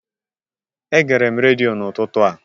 Egere m redio n'ụtụtụ a